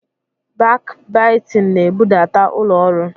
Bakbaitịn na-ebudata ụlọ ọrụ